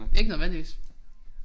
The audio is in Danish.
Ikke nødvendigvis